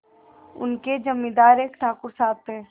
उनके जमींदार एक ठाकुर साहब थे